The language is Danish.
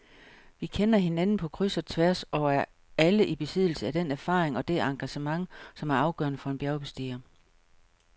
Vi kender hinanden på kryds og tværs og er alle i besiddelse af den erfaring og det engagement, som er afgørende for en bjergbestiger.